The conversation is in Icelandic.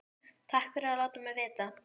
Takk fyrir að láta mig vita